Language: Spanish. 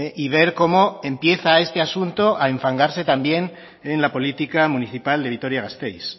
y ver cómo empieza este asunto a enfangarse también en la política municipal de vitoria gasteiz